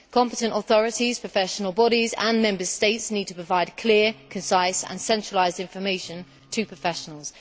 Competent authorities, professional bodies and Member States need to provide clear, concise and centralised information to professionals.